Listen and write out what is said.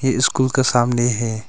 ये स्कूल का सामने है।